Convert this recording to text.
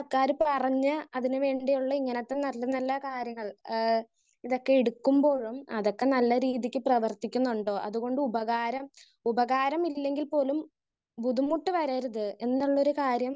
speaker 1 സർക്കാര് പറഞ്ഞ് അതിന് വേണ്ടിയുള്ള ഇങ്ങനത്തെ നല്ല നല്ല കാര്യങ്ങൾ ആഹ് ഇതൊക്കെ എടുക്കുമ്പോഴും അതൊക്കെ നല്ല രീതിക്ക് പ്രവർത്തിക്കുന്നുണ്ടോ അതുകൊണ്ട് ഉപകാരം ഉപകാരമില്ലെങ്കിൽ പോലും ബുദ്ധിമുട്ട് വരരുതേ എന്നുള്ളൊരു കാര്യം